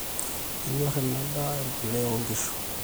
enyor ina daa embolea oonkishu